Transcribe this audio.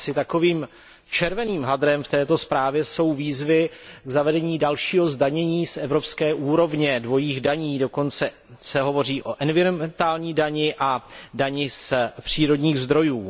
Asi takovým červeným hadrem v této zprávě jsou výzvy k zavedení dalšího zdanění na evropské úrovni, k zavedení dvojích daní, dokonce se hovoří o environmentální dani a o dani z přírodních zdrojů.